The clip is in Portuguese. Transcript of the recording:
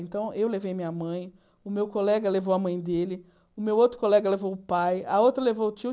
Então, eu levei minha mãe, o meu colega levou a mãe dele, o meu outro colega levou o pai, a outra levou o tio.